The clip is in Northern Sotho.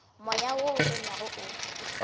moya wo o tonyago o